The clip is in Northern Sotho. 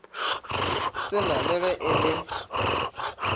sena le ge e le